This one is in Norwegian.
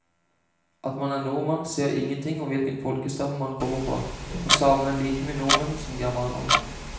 At man er nordmann sier ingenting om hvilken folkestamme man kommer fra, og samene er like mye nordmenn som germanerne.